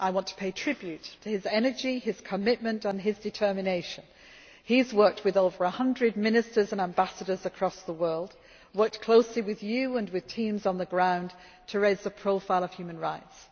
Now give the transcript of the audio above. I would like to pay tribute to his energy, commitment and determination. He has worked with over a hundred ministers and ambassadors across the world and worked closely with you and with teams on the ground to raise the profile of human rights.